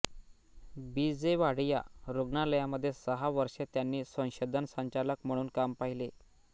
बी J Wadia रुग्णालयामध्ये सहा वर्षे त्यांनी संशोधन संचालक म्हणून काम पाहिले